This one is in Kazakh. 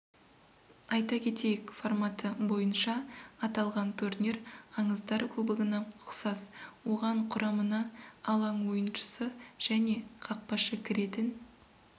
айта кетейік форматы бойынша аталған турнир аңыздар кубогына ұқсас оған құрамына алаң ойыншысы және қақпашы кіретін